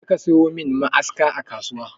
Je ka sayo min ma'aska a kasuwa!